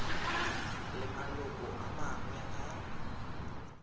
le maloko a mangwe a